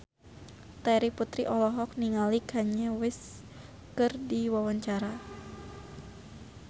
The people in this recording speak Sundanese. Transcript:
Terry Putri olohok ningali Kanye West keur diwawancara